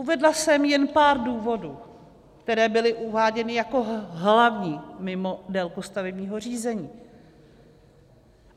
Uvedla jsem jen pár důvodů, které byly uváděny jako hlavní mimo délku stavebního řízení.